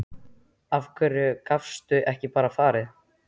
Af hverju gastu ekki bara farið?